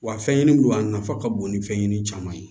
Wa fɛn ɲini don a nafa ka bon ni fɛnɲɛni caman ye